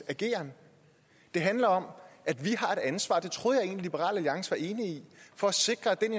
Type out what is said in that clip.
ageren det handler om at vi har et ansvar og det troede jeg egentlig liberal alliance var enige i for at sikre at den